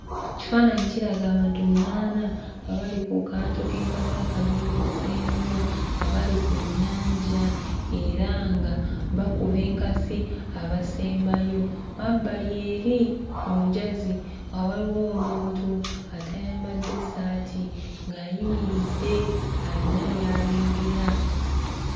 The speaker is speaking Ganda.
Ekifaananyi kiraga abantu munaana nga bali ku kaato k'enkasi akalongooseemu nga bali ku nnyanja era nga bakuba enkasi abasembayo. Emabbali eri ku njazi nga waliwo omuntu atayambadde ssaati ng'ayimiridde ayina by'alengera.